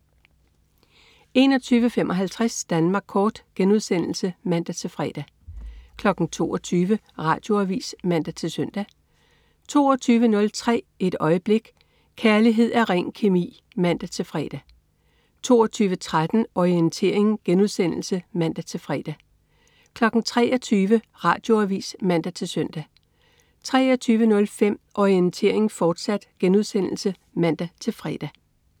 21.55 Danmark Kort* (man-fre) 22.00 Radioavis (man-søn) 22.03 Et øjeblik. Kærlighed er ren kemi (man-fre) 22.13 Orientering* (man-fre) 23.00 Radioavis (man-søn) 23.05 Orientering, fortsat* (man-fre)